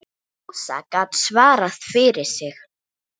Ása gat svarað fyrir sig.